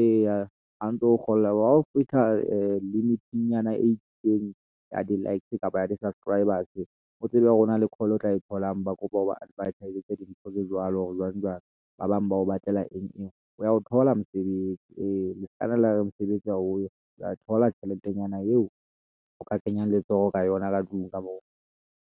eya ha ntso kgola hao fihla limit-inyana e itseng ya di-likes kapa di-subscribers o tsebe ho na le call o tla e tholang, ba kopa hore o ba advert-aezetse dintho tse jwalo jwang- jwang ba bang ba o batlela eng eng o wa o thola mosebetsi ee, le ska be la re mosebetsi ha o yo, wa e thola tjheletenyana yeo o ka kenyang letsoho ka yona ka tlung ka moo.